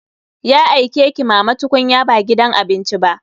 Ya aike ki mama tukunya ba gidan abinci ba.